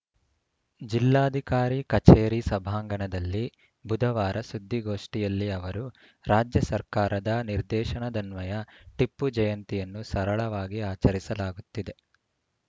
ಜಿಲ್ಲಾಧಿಕಾರಿ ಕಚೇರಿ ಸಭಾಂಗಣದಲ್ಲಿ ಬುಧವಾರ ಸುದ್ದಿಗೋಷ್ಠಿಯಲ್ಲಿ ಅವರು ರಾಜ್ಯ ಸರ್ಕಾರದ ನಿರ್ದೇಶನದನ್ವಯ ಟಿಪ್ಪು ಜಯಂತಿಯನ್ನು ಸರಳವಾಗಿ ಆಚರಿಸಲಾಗುತ್ತಿದೆ